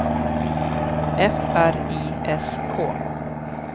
F R I S K